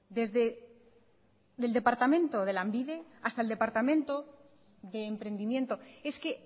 desde el departamento de lanbide hasta el departamento de emprendimiento es que